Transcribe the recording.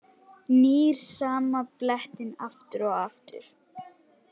Nýr sama blettinn aftur og aftur.